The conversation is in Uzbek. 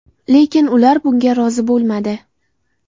Lekin ular bunga rozi bo‘lmadi.